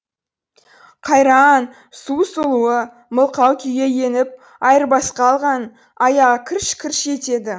қайра а ан су сұлуы мылқау күйге еніп айырбасқа алған аяғы кірш кірш етеді